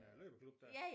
Løbeklub der